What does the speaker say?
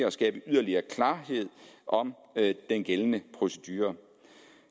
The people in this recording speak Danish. og skabe yderligere klarhed om den gældende procedure